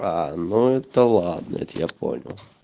ну это ладно я тебя понял